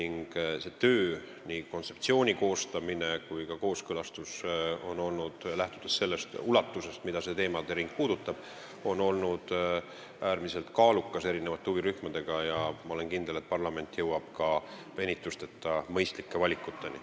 Nii kontseptsiooni koostamine kui ka kooskõlastus huvirühmadega on olnud mahukas, arvestades teemade ringi ulatust, kuid ma olen kindel, et parlament jõuab ilma venitusteta mõistlike valikuteni.